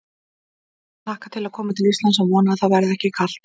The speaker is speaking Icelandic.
Ég hlakka til að koma til Íslands en vona að það verði ekki kalt.